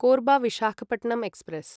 Korba Visakhapatnam express